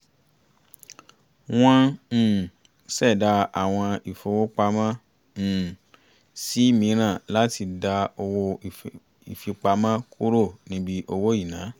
wọ́n um ṣẹ̀dá àwọ̀n ìfowópamọ́ um sí mìíràn láti dá owó ìfipamọ́ kúrò níbi owó ìná